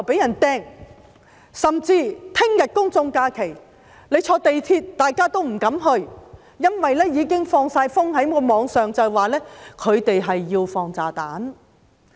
明天是公眾假期，但很多市民說不敢乘港鐵出外，因為網上已有人說會放炸彈。